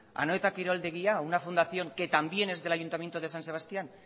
a anoeta kiroldegia una fundación que también es del ayuntamiento de san sebastián